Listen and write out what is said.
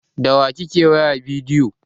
Da wa kike wayar bidiyo?